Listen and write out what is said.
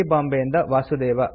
ಬಾಂಬೆ ಇಂದ ವಾಸುದೇವ